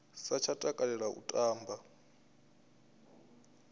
sa tsha takalela u tamba